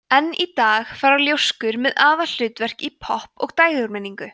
enn í dag fara ljóskur með aðalhlutverk í popp og dægurmenningu